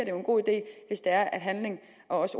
jo en god idé at at handling og